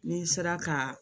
N'i sera ka